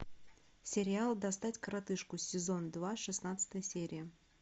сериал достать коротышку сезон два шестнадцатая серия